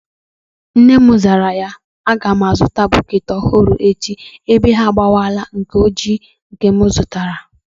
Nne ya zara ya, a ga m a zụta bukeeti ọhụrụ echi ebe ọ bụ na ha agbawala nke ojii m ka zụtara